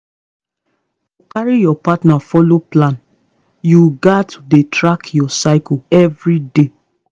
to carry your partner follow plan you gats dey track your cycle every day